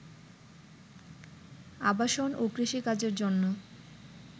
আবাসন ও কৃষি কাজের জন্য